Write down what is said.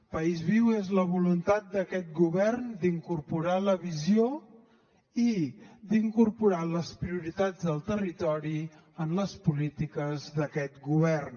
país viu és la voluntat d’aquest govern d’incorporar la visió i d’incorporar les prioritats del territori en les polítiques d’aquest govern